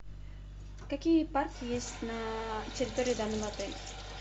какие парки есть на территории данного отеля